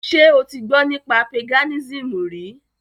Ṣe o ti gbọ́ nípa Paganism rí?